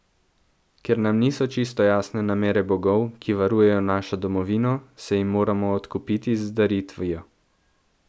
Ker nam niso čisto jasne namere bogov, ki varujejo našo domovino, se jim moramo odkupiti z daritvijo.